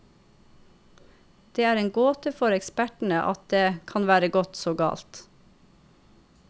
Det er en gåte for ekspertene at det kan være gått så galt.